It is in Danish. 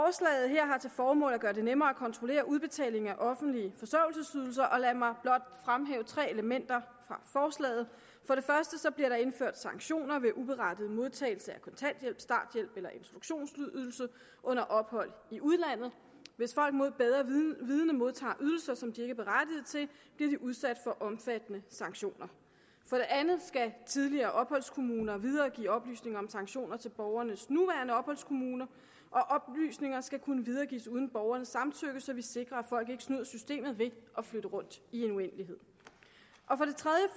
her har til formål at gøre det nemmere at kontrollere udbetaling af offentlige forsørgelsesydelser og lad mig blot fremhæve tre elementer fra forslaget for det første bliver der indført sanktioner ved uberettiget modtagelse af kontanthjælp starthjælp eller introduktionsydelse under ophold i udlandet hvis folk mod bedre vidende modtager ydelser som de ikke er berettiget til bliver de udsat for omfattende sanktioner for det andet skal tidligere opholdskommuner videregive oplysninger om sanktioner til borgernes nuværende opholdskommuner og oplysninger skal kunne videregives uden borgernes samtykke så vi sikrer at folk ikke snyder systemet ved at flytte rundt i en uendelighed